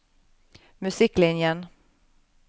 musikklinjen